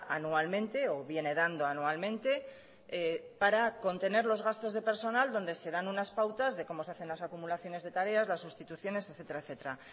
anualmente o viene dando anualmente para contener los gastos de personal donde se dan unas pautas de cómo se hacen las acumulaciones de tareas las sustituciones etcétera